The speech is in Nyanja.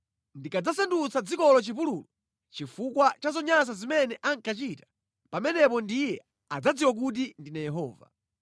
Ndikadzasandutsa dzikolo chipululu chifukwa cha zonyansa zimene ankachita, pamenepo ndiye adzadziwa kuti ndine Yehova.’